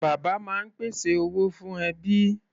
Bàbá máa ń pèsè owó fún ẹbí.